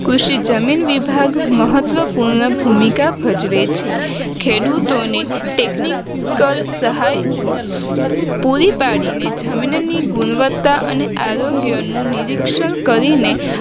કૃષિ જમીન વિભાગ મહત્વપૂર્ણ ભૂમિક ભજવે છે ખેડૂતોને technical સહાય પૂરી પાડીને જમીન ની ગુણવત્તા અને આરોગ્યનું નિરીક્ષણ કરીને